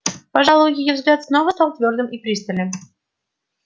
пожалуй её взгляд снова стал твёрдым и пристальным